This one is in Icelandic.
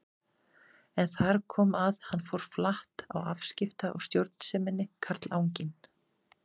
En þar kom að hann fór flatt á afskipta- og stjórnseminni, karlanginn.